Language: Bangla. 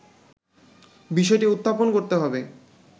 বিষয়টি উত্থাপন করতে হবে